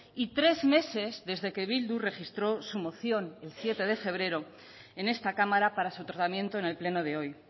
y tres meses desde que bildu registró su moción el siete de febrero en esta cámara para su tratamiento en el pleno de hoy